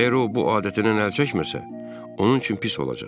əgər o bu adətindən əl çəkməsə, onun üçün pis olacaq.